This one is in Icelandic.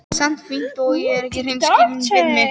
Samt finn ég að hún er ekki hreinskilin við mig.